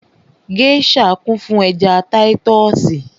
Gèésà kún fún ẹja táyítọ́sì